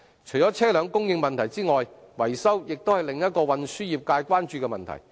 除了車輛供應問題外，維修亦是運輸業界關注的另一個問題。